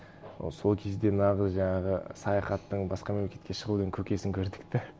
ы сол кезде нағыз жаңағы саяхаттың басқа мемлекетке шығудың көкесін көрдік те